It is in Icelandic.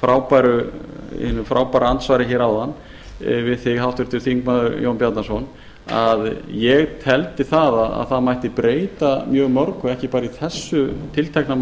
frábæra andsvari hér áðan við þig háttvirtur þingmaður jón bjarnason að ég teldi að það mætti breyta mjög mörgu ekki bara í þessu tiltekna